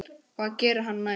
Hvað gerir hann næst?